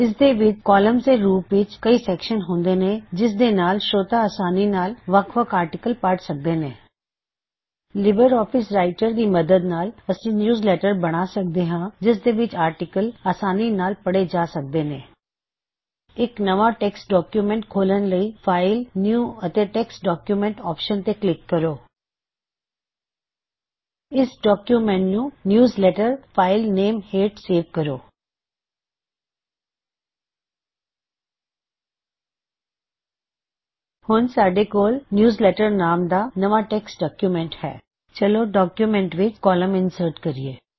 ਇਸਦੇ ਵਿੱਚ ਕੌਲਮਜ਼ ਦੇ ਰੂਪ ਵਿੱਚ ਕਈ ਸੈਕਸ਼ਨ ਹੁੰਦੇ ਨੇ ਜਿਸ ਦੇ ਨਾਲ ਸ੍ਰੋਤੇ ਆਸਾਨੀ ਨਾਲ ਵਖ ਵਖ ਆਰਟਿਕਲ ਪੱੜ ਸਕਦੇ ਨੇਂ ਲਿਬਰ ਆਫਿਸ ਰਾਇਟਰ ਦੀ ਮਦਦ ਨਾਲ ਅਸੀ ਨਿਯੂਜਲੈੱਟਰ ਬਣਾ ਸਕਦੇ ਹਾਂ ਜਿਸਦੇ ਵਿੱਚ ਆਰਟਿਕਲਜ ਆਸਾਨੀ ਨਾਲ ਪੱੜੇ ਜਾ ਸਕਦੇ ਨੇਂ ਇੱਕ ਨਵਾ ਟੈੱਕਸਟ ਡੌਕਯੁਮੈੱਨਟ ਖੋਲ੍ਹਨ ਲਈ ਫਾਇਲ ਨਿਉ ਅਤੇ ਟੈੱਕਸਟ ਡੌਕਯੁਮੈੱਨਟ ਆਪਸ਼ਨ ਤੇ ਕਲਿਕ ਕਰੋ ਇਸ ਡੌਕਯੁਮੈੱਨਟ ਨੂ ਨਿਯੂਜਲੈੱਟਰ ਫਾਇਲ ਨੇਮ ਹੇਠ ਸੇਵ ਕਰੋ ਹੁਣ ਸਾਡੇ ਕੋਲ ਨਿਯੂਜ਼ਲੈੱਟਰ ਨਾਮ ਦਾ ਨਵਾ ਟੈੱਕਸਟ ਡੌਕਯੁਮੈੱਨਟ ਹੈ ਚਲੋ ਡੌਕਯੁਮੈੱਨਟ ਵਿੱਚ ਕੌਲਮਜ਼ ਇਨਸਰਟ ਕਰਿਏ